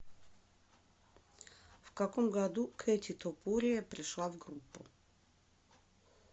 в каком году кэти топурия пришла в группу